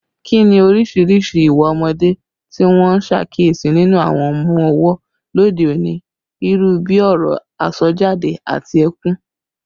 Kí ni oríṣiríṣi ìwà ọmọdé tí wọ́n ń ṣàkíyèsí nínú àwọn ọmọ ọwọ́ lóde òní, irú bí ọ̀rọ̀ àsọjáde àti ẹkún?